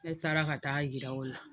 Ne taara ka taa jira o la.